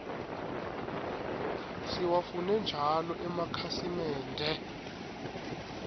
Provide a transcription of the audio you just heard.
siwafune njalo emakhasimende